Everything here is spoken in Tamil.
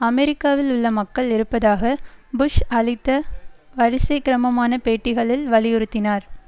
அமெரிக்காவில் உள்ள மக்கள் இருப்பதாக புஷ் அளித்த வரிசைக்கிரமமான பேட்டிகளில் வலியுறுத்தினார்